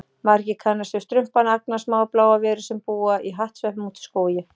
Margir kannast við Strumpana, agnarsmáar bláar verur sem búa í hattsveppum úti í skógi.